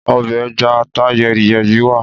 Ọbẹ̀ ẹja ata yẹ́ri-yẹ́rí wa